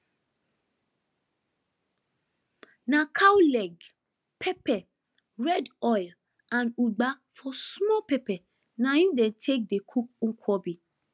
na cow leg pepper red oil and ugba for small pepper na im dey take dey cook nkwobi